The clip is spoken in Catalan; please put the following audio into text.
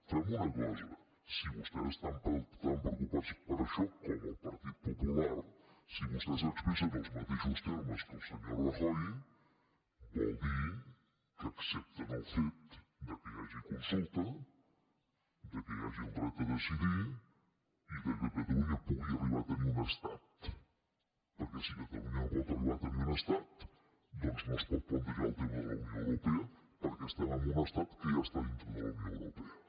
fem una cosa si vostès estan tan preocupats per això com el partit popular si vostè s’expressa en els mateixos termes que el senyor rajoy vol dir que accepten el fet que hi hagi consulta que hi hagi el dret a decidir i que catalunya pugui arribar a tenir un estat perquè si catalunya no pot arribar a tenir un estat no es pot plantejar el tema de la unió europea perquè estem en un estat que ja està dintre de la unió europea